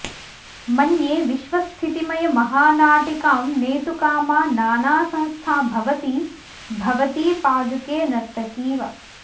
मन्ये विश्वस्थितिमयमहानाटिकां नेतुकामा नानासंस्था भवति भवती पादुके नर्तकीव